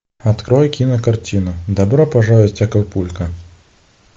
открой кинокартину добро пожаловать в акапулько